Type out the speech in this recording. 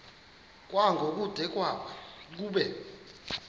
kwango kude kube